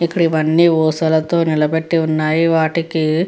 ఇక్కడ ఇవన్నీ ఊసలతో నిలబెట్టి ఉన్నాయి వాటిలకి --